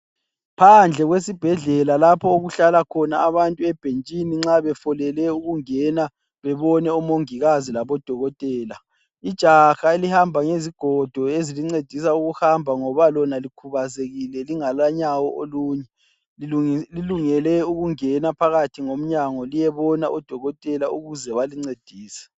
Phandle kwesibhedlela lapho okuhlala khona abantu ebhentshini nxa befolele ukungena bebone omongikazi labo dokotela. Ijaha elihamba ngezigodo ezimncedisa ukuhamba ngoba lona likhubazekile lingala nyawo olunye, lilungele ukungena phakathi ngomnyango liyebona odokotela ukuze balincedise.